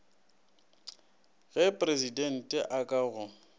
ge presidente a ka go